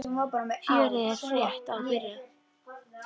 Fjörið er rétt að byrja!